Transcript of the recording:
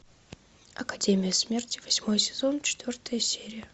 академия смерти восьмой сезон четвертая серия